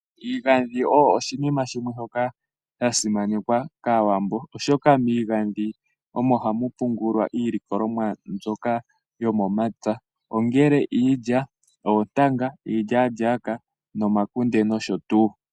Iigandhi oyasimanekwa kaawambo oshoka miigandhi omo hamu pungulwa iilikolomwa mbyoka yomomapya. Ohamu pungulwa iilya, iilyaalyaka, oontanga, omakunde nosho tuu.